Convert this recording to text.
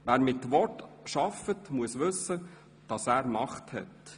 Wer mit Worten arbeitet, muss wissen, dass er Macht hat;